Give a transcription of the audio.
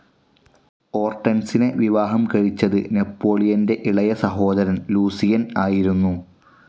ഓർട്ടൻസിനെ വിവാഹം കഴിച്ചത് നെപ്പോളിയൻ്റെ ഇളയസഹോദരൻ ലൂസിയൻ ആയിരുന്നു.